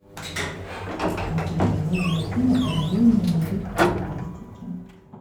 сбер главная тема параллельные миры в фантастике